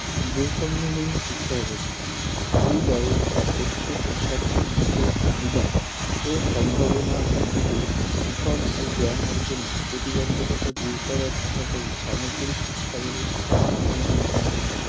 বৈসম্যহীণ শিক্ষাব্যাবস্থা এই ব্যাবস্থায় প্রত্যেক শিক্ষার্থীর বিশেষ চাহিদা ও সম্ভাবনার ভিত্তিতে শিখন ও জ্ঞান অর্জনে প্রতিবন্ধকতা দূর করার পাশাপাশি সামগ্রিক শিক্ষা ব্যবস্থার মানের উন্নয়ন ঘটে